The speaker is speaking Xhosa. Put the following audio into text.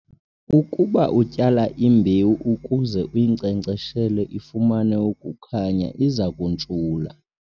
Ukuba utyala imbewu ukuze uyinkcenkceshele ifumane ukukhanya, iza kuntshula